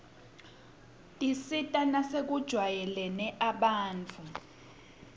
tisita nasekujwayeleni abantfu